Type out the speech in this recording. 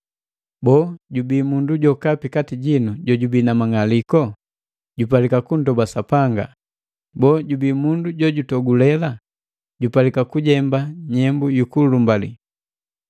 Boo, jubii mundu jokapi kati jino jojubii na mang'aliko? Jupalika kundoba Sapanga. Boo, jubii mundu jojutogulela? Jupalika kujemba nyembu yu kulumbalii.